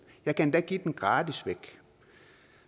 jeg kan endda give den væk gratis